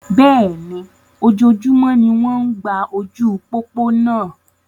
Bẹ́ẹ̀ni, ojoojúmọ́ ni wọ́n ń gba ojú pópó náa.